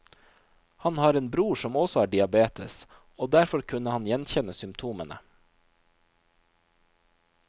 Han har en bror som også har diabetes, og derfor kunne han gjenkjenne symptomene.